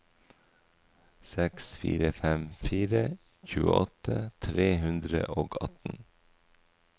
seks fire fem fire tjueåtte tre hundre og atten